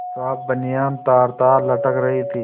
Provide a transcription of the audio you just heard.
साफ बनियान तारतार लटक रही थी